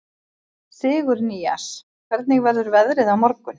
Sigurnýas, hvernig verður veðrið á morgun?